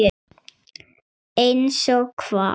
Einsog hvað?